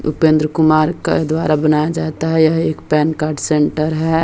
उपेंद्र कुमार के द्वारा बनया जाता है यह एक पैन कार्ड सेंटर है।